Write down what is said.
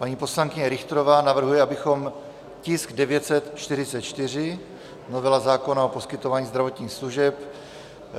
Paní poslankyně Richterová navrhuje, abychom tisk 944, novela zákona o poskytování zdravotních služeb,